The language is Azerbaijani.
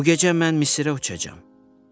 Bu gecə mən Misirə uçacam.